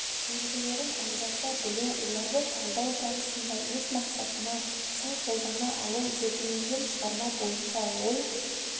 белгілерін ажырата білу оларды талдау барысында өз мақсатына сай қолдана алу зерделенген шығарма бойынша ой